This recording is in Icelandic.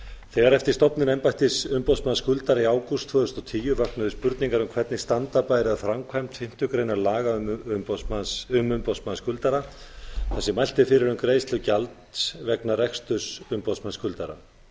þegar eftir stofnun embættis umboðsmanns skuldara í ágúst tvö þúsund og tíu vöknuðu spurningar um hvernig standa bæri að framkvæmd fimmtu grein laga um umboðsmann skuldara þar sem mælt er fyrir um greiðslu gjalds vegna reksturs umboðsmanns skuldara